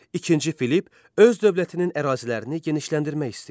İkinci Filipp öz dövlətinin ərazilərini genişləndirmək istəyirdi.